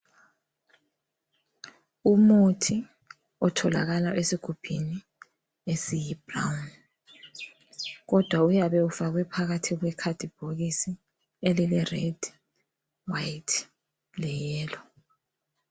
Umuthi othalakala esigubhini esiyibrown ,kodwa uyabe ufakwe phakathi kwekhadibhokisi elile red ,white le yellow .